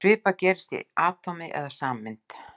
Svipað gerist í atómi eða sameind.